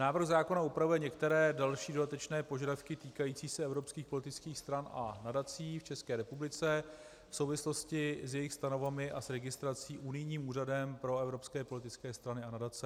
Návrh zákona upravuje některé další dodatečné požadavky týkající se evropských politických stran a nadací v České republice v souvislosti s jejich stanovami a s registrací unijním Úřadem pro evropské politické strany a nadace.